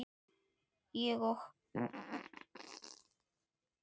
Ég og